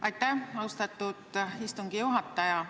Aitäh, austatud istungi juhataja!